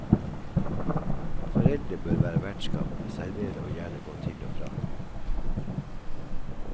Foreldre bør være vertskap, servere og gjerne gå til og fra.